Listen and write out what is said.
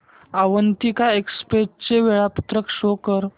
Avantika express चे वेळापत्रक show कर